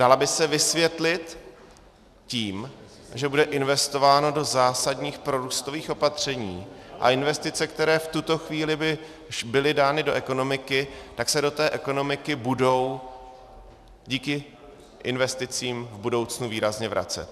Dala by se vysvětlit tím, že bude investováno do zásadních prorůstových opatření, a investice, které v tuto chvíli by byly dány do ekonomiky, tak se do té ekonomiky budou díky investicím v budoucnu výrazně vracet.